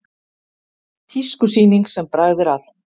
Tískusýning sem bragð er að